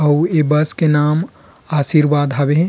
अउ ए बस के नाम आशीर्वाद हावे।